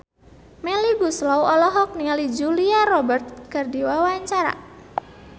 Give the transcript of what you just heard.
Melly Goeslaw olohok ningali Julia Robert keur diwawancara